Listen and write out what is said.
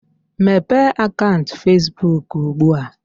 Mepee akaụnt Fesbuk ugbu a!